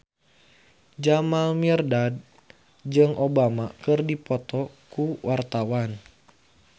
Jamal Mirdad jeung Obama keur dipoto ku wartawan